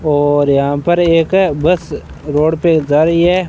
और यहां पर एक बस रोड पे जा रही है।